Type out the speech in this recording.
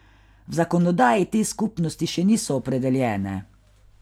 V zakonodaji te skupnosti še niso opredeljene.